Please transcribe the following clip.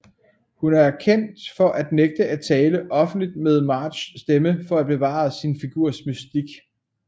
Hun er kendt for at nægte at tale offentligt med Marges stemme for at bevare sin figurs mystik